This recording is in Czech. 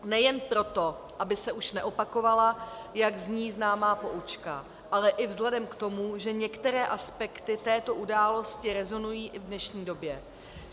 Nejen proto, aby se už neopakovala, jak zní známá poučka, ale i vzhledem k tomu, že některé aspekty této události rezonují i v dnešní době.